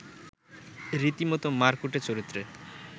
রীতিমতো মারকুটে চরিত্রে